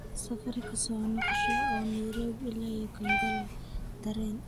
safar ka soo noqosho ah oo nairobi ilaa kampala tareen